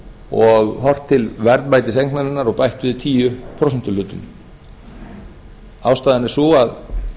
og horft til verðmætis eignarinnar og bætt við tíu prósentuhlutum ástæðan er sú að